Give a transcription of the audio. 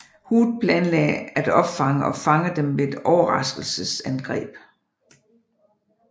Hood planlagde at opfange og fange dem ved et overraskelsesangreb